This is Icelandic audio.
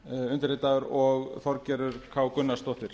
undirritaður og þorgerður k gunnarsdóttir